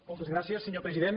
moltes gràcies senyor president